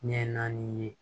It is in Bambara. Ɲɛ naani ye